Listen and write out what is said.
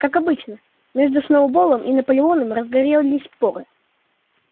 как обычно между сноуболлом и наполеоном разгорелись споры